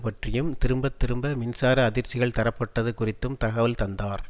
பற்றியும் திரும்பத்திரும்ப மின்சார அதிர்ச்சிகள் தரப்பட்டது குறித்தும் தகவல் தந்தார்